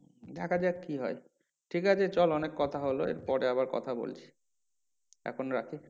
দেখা যাক কি হয় ঠিক আছে চল অনেক কথা হলো এর পরে আবার কথা বলছি এখন রাখি